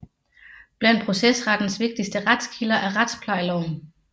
Blandt procesrettens vigtigste retskilder er retsplejeloven